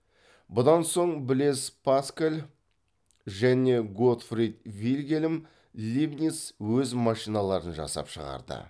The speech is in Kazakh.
бұдан соң блез паскаль және готфрид вильгельм лейбниц өз машиналарын жасап шығарды